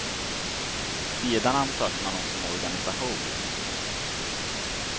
Sedan ansöker man hos en organisation.